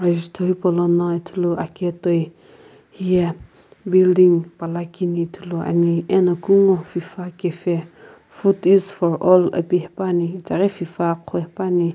azuto hipolono ithulu akae toi hiye building pala kini ithulu ane ano kungu fifa cafe food is for all apae haepani ithaghi fifa agho hipani.